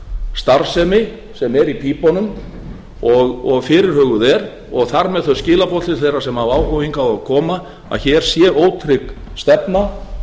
starfsemi sem er í pípunum og fyrirhuguð er og þar með þau skilaboð til þeirra sem hafa áhuga hingað að koma að hér sé ótrygg stefna